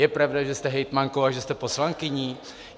Je pravda, že jste hejtmankou a že jste poslankyní?